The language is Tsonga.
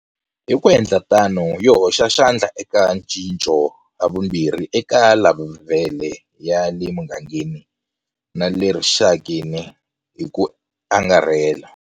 Hi ku endla tano, yi hoxa xandla eka ncinco havumbirhi eka levhele ya le mugangeni na le rixakeni hi ku angarhela.